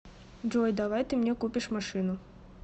джой давай ты мне купишь машину